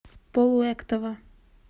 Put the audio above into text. полуэктова